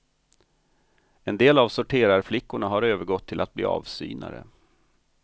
En del av sorterarflickorna har övergått till att bli avsynare.